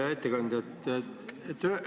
Hea ettekandja!